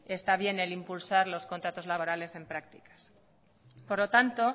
está bien el impulsar los contratos laborales en prácticas por lo tanto